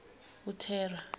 uthera